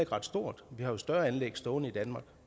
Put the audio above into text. ret stort vi har jo større anlæg stående i danmark